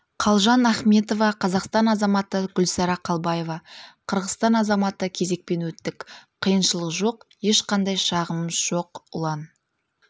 қалжан ахметова қазақстан азаматы гүлсара қалбаева қырғызстан азаматы кезекпен өттік қиыншылық жоқ ешқандай шағымымыз жоқ ұлан